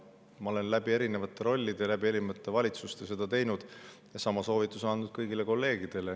Ma olen erinevates rollides, erinevates valitsustes seda teinud ja sama soovituse andnud kõigile kolleegidele.